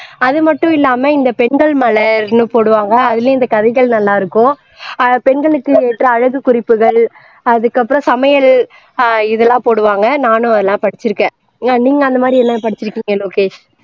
அது மட்டும் இல்லாமல் இந்த பெண்கள் மலர் இன்னும் போடுவாங்க அதிலும் இந்த கதைகள் நல்லா இருக்கும் பெண்களுக்கு ஏற்ற அழகு குறிப்புகள் அதுக்கு அப்பறாம் சமையல் ஆஹ் இதெல்லாம் போடுவார்கள் நானும் அதெல்லாம் படிச்சுருக்கேன் நீங்க அந்த மாதிரி எதாவது படிச்சிருக்கீங்களா லோகேஷ்